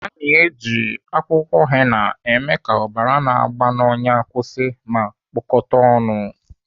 Ana eji akwụkwọ henna eme ka ọbara na-agba n'ọnyà kwụsị ma kpụkata ọnụ.